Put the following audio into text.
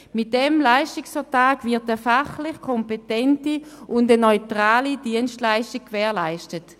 Mit diesem Leistungsvertrag wird eine fachlich kompetente und neutrale Dienstleistung gewährleistet.